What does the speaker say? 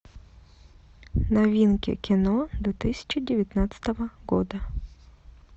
новинки кино две тысячи девятнадцатого года